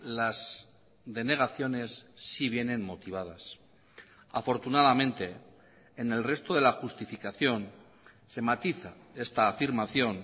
las denegaciones sí vienen motivadas afortunadamente en el resto de la justificación se matiza esta afirmación